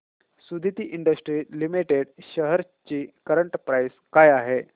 Suditi industries limited shares ची current price काय आहे